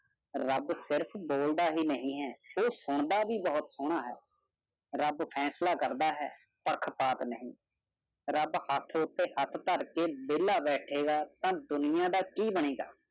ਰੱਬ ਸਿਰਫ ਬੋਲਦਾ ਹੀ ਨਹੀਂ ਹੈ। ਉਹ ਸੁਣਦਾ ਵੀ ਬਹੁਤ ਸੋਹਣਾ ਹੈ। ਰੱਬ ਫੈਸਲਾ ਕਰਦਾ ਹੈ ਪੱਖ ਪਾਤ ਨਹੀਂ। ਰੱਬ ਹੱਥ ਉੱਤੇ ਹੱਥ ਧਰ ਰੱਖ ਕੇ ਵਿਹਲਾ ਬੈਠੇਗਾ ਤਾਂ ਦੁਨੀਆ ਦਾ ਕੀ ਬਣੇਗਾ।